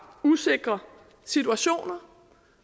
usikre situationer